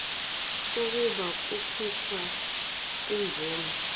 kokuba kukhishwe imvume